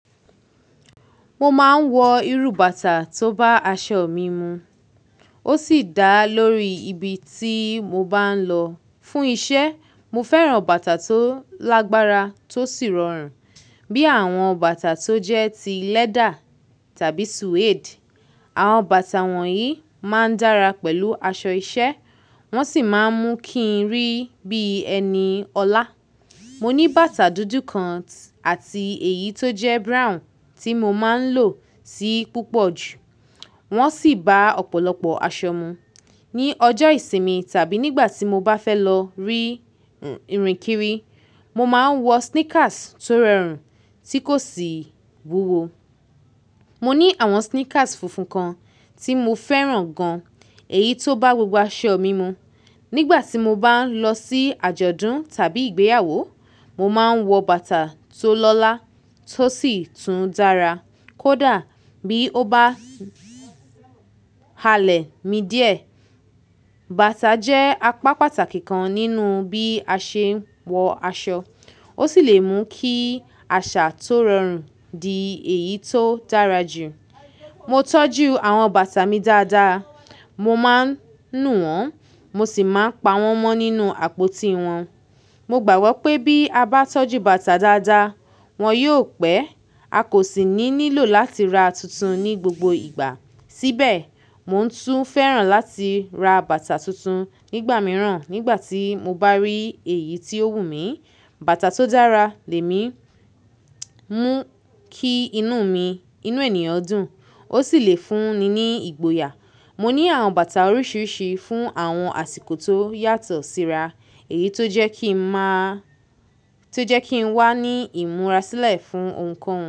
Mo máa ń wọ irú bàtà tó bá aṣọ mi mu. Ó sì dá lórí ibi tí mo bá ń lọ. Fún iṣẹ́, mo fẹ́ràn bàtà tó lágbára tó sì rọrùn bí àwọn bàtà tó jẹ́ ti lẹ́dà tàbí suede. Àwọn bàtà wọ̀nyí máa ń dára pẹ̀lú aṣọ iṣẹ́ wọ́n sì máa ń mú kí n rí bí ẹni ọlá. Mo ní bàtà dúdú kan àti èyí tó jẹ́ brown tí mo máa ń lò sì púpọ̀ jù. Wọ́n sì bá ọ̀pọ̀lọpọ̀ aṣọ mu. Ni ọjọ́ ìsinmi tàbí nígbà tí mo bá fẹ́ lọ rí ìrìnkiri, mo máa ń wọ sneakers tó rorùn tí kò sì wúwo. Mo ní àwọn sneakers funfun kan tí mo fẹ́ràn gan, èyí tó bá gbogbo aṣọ mi mu. Nígbà tí mo bá ń lọ sí àjọ̀dún tàbí ìgbéyàwó, mo máa ń wọ bàtà tó lọ́lá tó sì tún dára kó dà bí ó bá halẹ̀ mi díẹ̀. Bàtà jẹ́ apá pàtàkì kan nínú bí a ṣe ń wọ aṣọ. Ó sì lè mú kí àṣà tó rọrùn di èyí tó dára jù. Mo tọ́jú àwọn bàtà mi dáadáa. Mo máa ń nù wọ́n, mo sì máa ń pa wọ́n mọ́ nínú àpótí wọn. Mo gbàgbọ́ pé bí a bá tọ́jú bàtà dáadáa, wọ́n yó pẹ́. A kò sì ní nílò láti ra tuntun ní gbogbo ìgbà. Síbẹ̀, mo tún fẹ́ràn láti ra bàtà tuntun nígbà mìíràn nígbà tí mo bá rí èyí tí ó wù mí. Bàtà tó dára lè mi mú kí inú mi, inú ènìyàn dùn, ó sì lè fún ni ní ìgboyà. Mo ní àwọn bàtà oríṣiríṣi fún àwọn àsìkò tó yàtọ̀ síra. Èyí tó jẹ́ kí n máa, tó jẹ́ kí n wà ní ìmúra sílẹ̀ fún nǹkan.